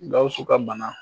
Gawusu ka bana